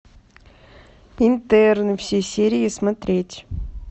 интерны все серии смотреть